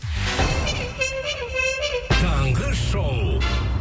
таңғы шоу